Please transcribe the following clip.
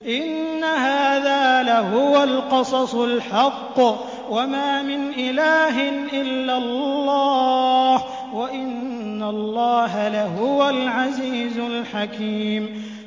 إِنَّ هَٰذَا لَهُوَ الْقَصَصُ الْحَقُّ ۚ وَمَا مِنْ إِلَٰهٍ إِلَّا اللَّهُ ۚ وَإِنَّ اللَّهَ لَهُوَ الْعَزِيزُ الْحَكِيمُ